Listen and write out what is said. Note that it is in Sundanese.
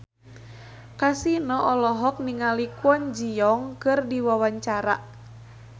Kasino olohok ningali Kwon Ji Yong keur diwawancara